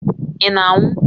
Ị na-anwụ?